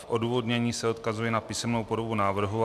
V odůvodnění se odkazuji na písemnou podobu návrhu.